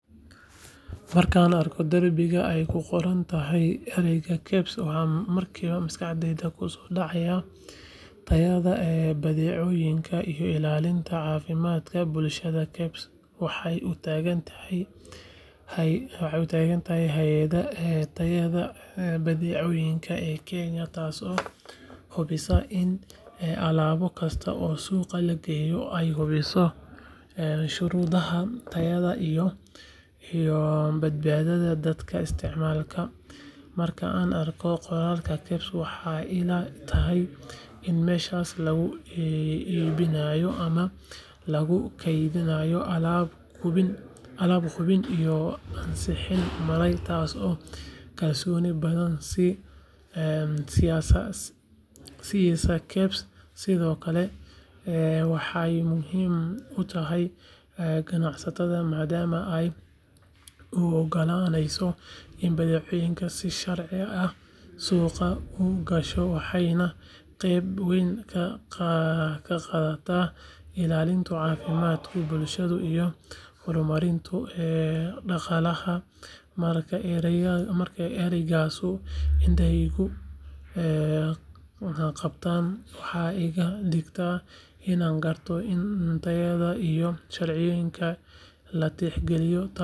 Markaan arko darbiga ay ku qoran tahay erayga KEBS waxa markiiba maskaxdayda ku soo dhacaya tayada badeecooyinka iyo ilaalinta caafimaadka bulshada KEBS waxay u taagan tahay hay’adda tayada badeecooyinka ee Kenya taasoo hubisa in alaab kasta oo suuqa la keeno ay buuxiso shuruudaha tayada iyo badbaadada dadka isticmaala marka aan arko qoraalka KEBS waxay ila tahay in meeshaas lagu iibinayo ama lagu kaydinayo alaab hubin iyo ansixiin maray taasoo kalsooni badan i siisa KEBS sidoo kale waxay muhiim u tahay ganacsatada maadaama ay u ogolaanayso in badeecadoodu si sharci ah suuqa u gasho waxayna qeyb weyn ka qaadataa ilaalinta caafimaadka bulshada iyo horumarinta dhaqaalaha marka eraygaas indhahaygu qabtaan waxay iga dhigtaa inaan garto in tayada iyo sharciyadda la tixgaliyay taasoo muhiim ah.